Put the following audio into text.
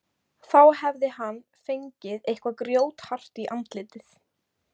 Þá hafði hann fengið eitthvað grjóthart í andlitið.